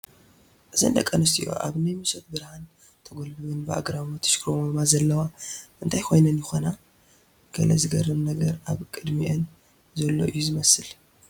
እዘን ደቂ ኣንስትዮ ኣብ ናይ ምሸት ብርሃን ተጐላቢበን ብኣግራሞት ይሽኩርመማ ዘለዋ እንታይ ኮይነን ይኾና፡፡ ገለ ዘግርም ነገር ኣብ ቅድሚአን ዘሎ እዩ ዝመስል፡፡